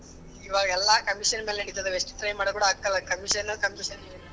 ಇವಾಗೆಲ್ಲಾ commission ಮೇಲೆ ನಡೀತಿದಾವ್ ಎಷ್ಟ್ try ಮಾಡಿದ್ರು ಕೂಡ ಆಕ್ತ ಇಲ್ಲಾ commission commission .